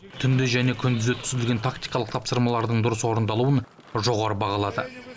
түнде және күндіз өткізілген тактикалық тапсырмалардың дұрыс орындалуын жоғары бағалады